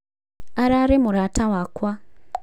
ararĩ mũrata wakwa